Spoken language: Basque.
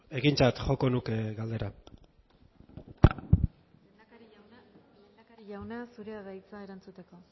zurea da hitza egintzat joko nuke galdera lehendakari jauna zurea da hitza erantzuteko